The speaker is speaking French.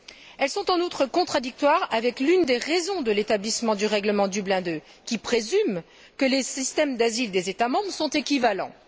Elles sont en outre contradictoires avec l'une des raisons de l'établissement du règlement Dublin II, qui présume que les systèmes d'asile des États membres sont équivalents.